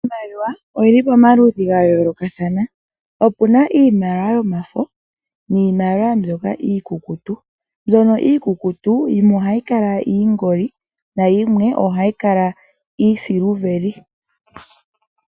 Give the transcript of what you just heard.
Iimaliwa oyi li pamaludhi ga yoolokathana, ope na iimaliwa yomafo niimaliwa mbyoka iikukutu. Mbyono iikutu yimwe ohayi kala iingoli na yimwe ohayi kala iisiliveli.